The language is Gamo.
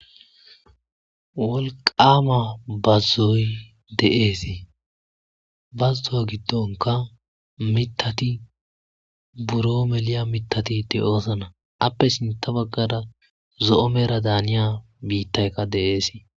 wolqama bazzoy de7ees bazzo7a giddonka mitati buro meliya mitati de7oosana appe sinta baggada zo7o meera daaniya biittaykka de7eesi